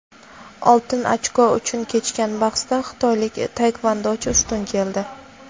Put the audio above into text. "Oltin ochko" uchun kechgan bahsda xitoylik taekvondochi ustun keldi.